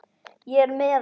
Ég er með hann.